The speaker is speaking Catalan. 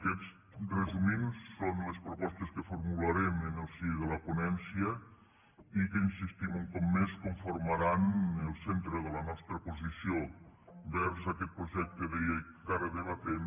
aquestes resumint són les propostes que formularem en el si de la ponència i que hi insistim un cop més conformaran el centre de la nostra posició envers aquest projecte de llei que ara debatem